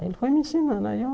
Aí ele foi me ensinando. Aí eu